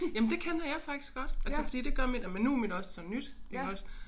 Jamen det kender jeg faktisk godt altså fordi det gør mit og men nu mit også så nyt iggås